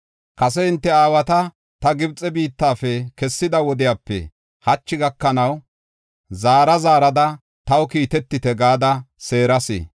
Kase hinte aawata ta Gibxe biittafe kessida wodiyape hachi gakanaw, zaara zaarada, “Taw kiitetite” gada seeras.